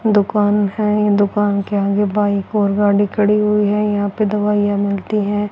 दुकान है दुकान के आगे बाइक और गाड़ी खड़ी हुई है यहां पे दवाइयां मिलती है।